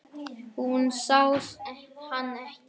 Hún sá hann ekki.